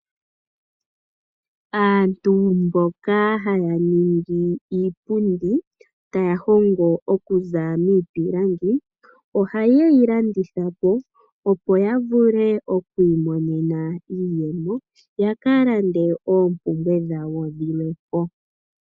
Aantu mboka haya ningi iipundi, taya hingo okuza miipilangi, ohayeyi landithapo, opo yavule okwiimonena iiyemo, yakalande oompumbwe dhawo dhilwe.